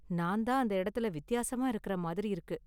நான் தான் அந்த எடத்துல வித்தியாசமா இருக்குற மாதிரி இருக்கு.